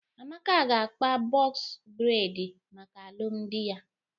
Amaka ga-akpa bọks bredi maka alumdi ya.